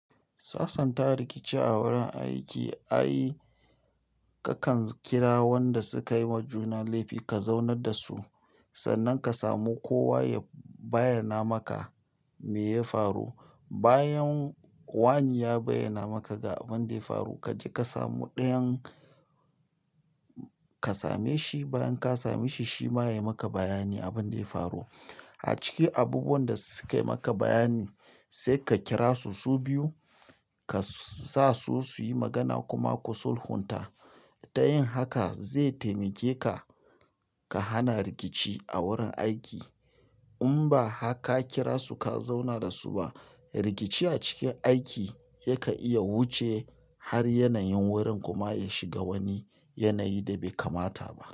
Sasanta rikici a wurin aiki ai kakan kira wanda sukayi wa juna laifi ka zauna da su. Sannan ka samu kowa ya bayyana maka me ya faru. Bayan wani ya bayyana maka ga abin da ya faru, ka je ka samu ɗayan ka same shi. Bayan ka same shi, shi ma ya yi maka bayani abin da ya faru. A ciki abubuwan da suka yi maka bayani saika kira su, su biyu ka sasu suyi magana kuma ku sulhunta ta yin haka zai taimake ka ka hana rikici a wurin aiki. In ba haka kira su ka zauna da su ba, rikici a cikin aiki yakan iya wuce har yanayin wurin kuma ya shiga wani yanayi da bai kamata ba.